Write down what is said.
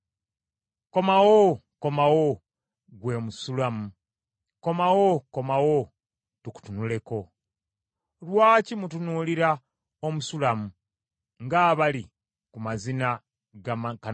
Komawo, Komawo, ggwe Omusulamu; komawo, komawo tukutunuleko. Owoomukwano Lwaki mutunuulira Omusulamu ng’abali ku mazina ga Makanayimu?